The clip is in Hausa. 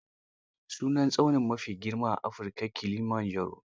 Sunan tsauni maa fi girma a Afirika Kilimanjaro.